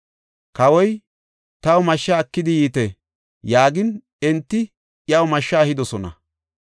Kawoy, “Taw mashsha ekidi yiite” yaagin, enti iyaw mashsha ehidosona.